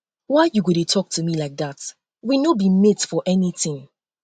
why you go dey talk to me like um dat um we no be mate for anything